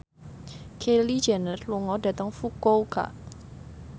Kylie Jenner lunga dhateng Fukuoka